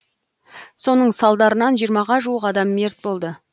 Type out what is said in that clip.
соның салдарынан жиырмаға жуық адам мерт болды